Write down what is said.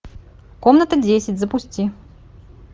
комната десять запусти